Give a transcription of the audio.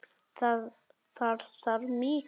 Þar þarf mikið til.